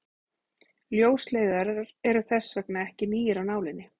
ljósleiðarar eru þess vegna ekki nýir af nálinni